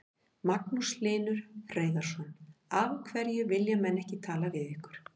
Magnús Hlynur Hreiðarsson: Af hverju vilja menn ekki tala við ykkur?